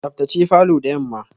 Tsaftace falor da yamma.